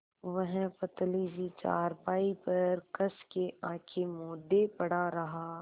वह पतली सी चारपाई पर कस के आँखें मूँदे पड़ा रहा